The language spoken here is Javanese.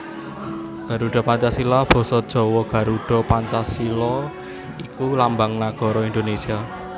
Garuda Pancasila basa Jawa Garudha Pancasila iku lambang nagara Indonésia